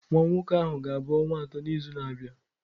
Nwa nwoke ahụ ga-abụ ọnwa atọ n'izu na-abịa.